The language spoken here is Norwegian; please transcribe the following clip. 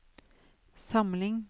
samling